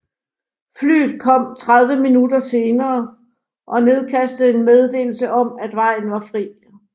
Flyet kom 30 minutter senere og nedkastede en meddelelse om at vejen var fri